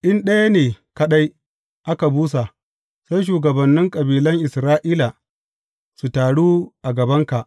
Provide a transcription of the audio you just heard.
In ɗaya ne kaɗai aka busa, sai shugabannin kabilan Isra’ila, su taru a gabanka.